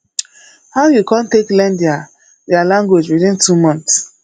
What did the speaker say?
how you come take learn their their language within two months